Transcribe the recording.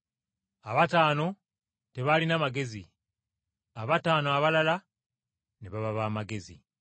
Abataano tebaalina magezi, abataano abalala ne baba b’amagezi.